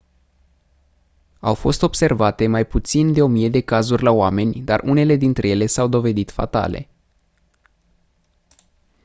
au fost observate mai puțin de o mie de cazuri la oameni dar unele dintre ele s-au dovedit fatale